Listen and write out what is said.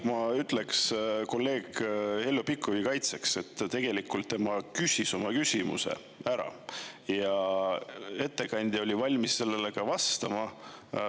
Ma ütleks kolleeg Heljo Pikhofi kaitseks, et tegelikult tema küsis oma küsimuse ära ja ettekandja oli valmis sellele ka vastama.